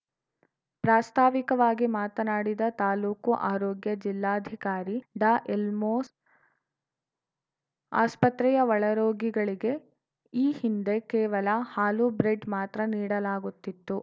ಪ್ರಾಸ್ತಾವಿಕವಾಗಿ ಮಾತನಾಡಿದ ತಾಲೂಕು ಆರೋಗ್ಯ ಜಿಲ್ಲಾಧಿಕಾರಿ ಡಾಎಲ್ದೋಸ್‌ ಆಸ್ಪತ್ರೆಯ ಒಳರೋಗಿಗಳಿಗೆ ಈ ಹಿಂದೆ ಕೇವಲ ಹಾಲು ಬ್ರೆಡ್‌ ಮಾತ್ರ ನೀಡಲಾಗುತ್ತಿತ್ತು